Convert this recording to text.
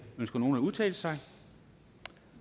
ønsker nogen at udtale sig